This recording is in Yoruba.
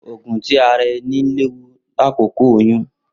Oogun ti ara ẹni lewu lakoko oyun